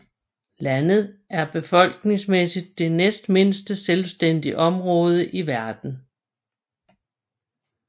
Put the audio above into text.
Landet er befolkningsmæssigt det næstmindste selvstændige område i verden